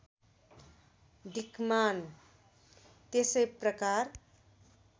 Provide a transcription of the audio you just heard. दिक्मान त्यसै प्रकार